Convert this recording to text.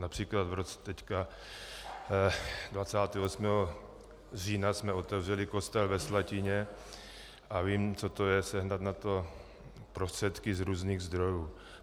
Například v tomto roce 28. října jsme otevřeli kostel ve Slatině a vím, co to je sehnat na to prostředky z různých zdrojů.